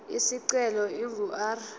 isicelo ingu r